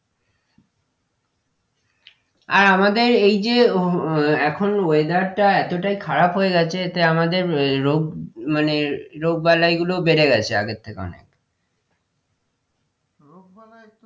আর আমাদের এই যে আহ এখন weather টা এতটাই খারাপ হয়েগেছে এতে আমাদের আহ রোগ মানে রোগবালাই গুলো বেড়ে গেছে আগের থেকে অনেক রোগবালাই তো,